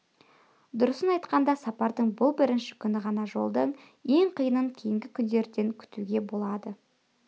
дұрысын айтқанда сапардың бұл бірінші күні ғана жолдың ең қиынын кейінгі күндерден күтуге болады